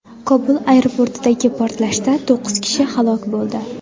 Kobul aeroportidagi portlashda to‘qqiz kishi halok bo‘ldi.